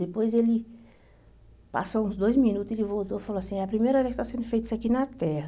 Depois ele passou uns dois minutos, ele voltou e falou assim, é a primeira vez que está sendo feito isso aqui na Terra.